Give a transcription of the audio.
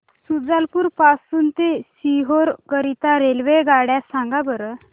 शुजालपुर पासून ते सीहोर करीता रेल्वेगाड्या सांगा बरं